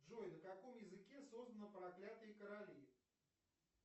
джой на каком языке созданы проклятые короли